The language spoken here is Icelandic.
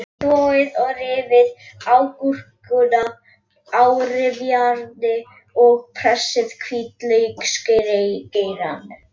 Þvoið og rífið agúrkuna á rifjárni og pressið hvítlauksgeirann.